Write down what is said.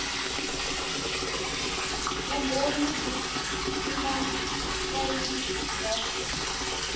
vumbhoni bya prima facie bya